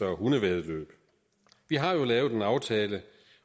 og hundevæddeløb vi har jo lavet en aftale